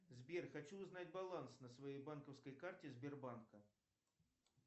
сбер хочу узнать баланс на своей банковской карте сбербанка